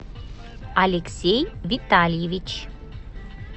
алексей витальевич